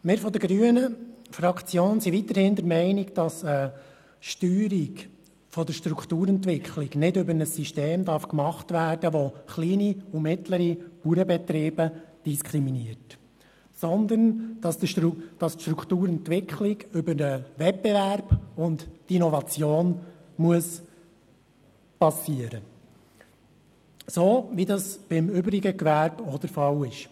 Wir von der grünen Fraktion sind weiterhin der Meinung, dass eine Steuerung der Strukturentwicklung nicht über ein System vorgenommen werden darf, das kleine und mittlere Bauernbetriebe diskriminiert, sondern, dass die Strukturentwicklung über den Wettbewerb und die Innovation geschehen muss, so wie dies beim übrigen Gewerbe auch der Fall ist.